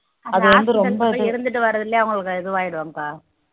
hospital இருந்துட்டு வர்றதுலையே அவங்களுக்கு இதுவாயிடுவாங்கப்பா